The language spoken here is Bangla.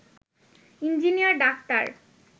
engineer doctor